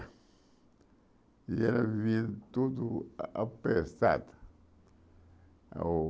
E ela vivia tudo a apertado. Ao